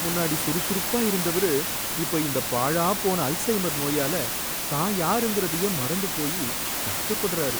முன்னாடி சுறுசுறுப்பா இருந்தவரு இப்ப இந்த பாழாப்போன அல்சைமர் நோயால தான் யாருங்கறதயே மறந்து போய் கஷ்டப்படுறாரு